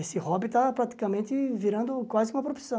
Esse hobby está praticamente virando quase que uma profissão.